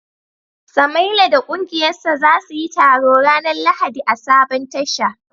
Samaila da kungiyarsa za su yi taro ranar Lahadi a sabon Tasha